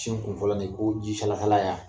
Cin kun fɔlɔ ni ko ji sala sala